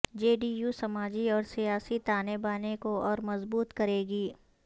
جے D U سماجی اور سیاسی تانے بانے کو اور مضبوط کرے گی